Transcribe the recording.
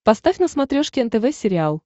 поставь на смотрешке нтв сериал